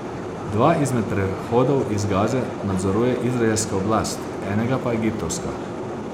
Dva izmed prehodov iz Gaze nadzoruje Izraelska oblast, enega pa Egiptovska.